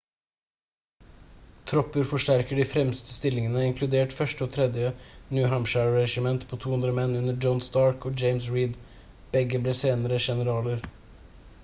tropper forsterker de fremre stillingene inkludert 1. og 3. new hampshire-regiment på 200 menn under john stark og james reed begge ble senere generaler